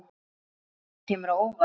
Þessi umræða kemur á óvart.